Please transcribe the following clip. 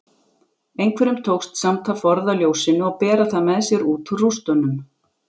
Einhverjum tókst samt að forða ljósinu og bera það með sér út úr rústunum.